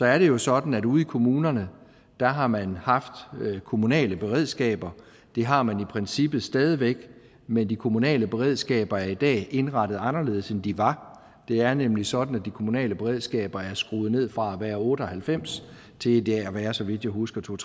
er det jo sådan at ude i kommunerne har man haft kommunale beredskaber det har man i princippet stadig væk men de kommunale beredskaber er i dag indrettet anderledes end de var det er nemlig sådan at de kommunale beredskaber er skruet ned fra at være otte og halvfems til i dag at være så vidt jeg husker to og